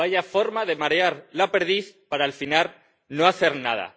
¡Vaya forma de marear la perdiz para, al final, no hacer nada!